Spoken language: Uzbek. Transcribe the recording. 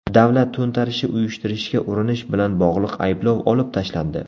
Davlat to‘ntarishi uyushtirishga urinish bilan bog‘liq ayblov olib tashlandi.